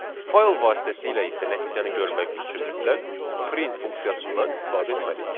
Fayl vasitəsilə isə nəticəni görmək üçün mütləq print funksiyasından istifadə etməliyik.